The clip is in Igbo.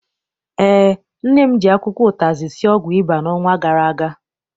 Eé, nne m ji akwụkwọ ụtazị sie ọgwụ ịba n'ọnwa gara aga.